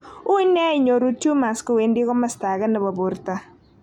Ui nia inyoru tumors kowendi komosto age nepo porto,.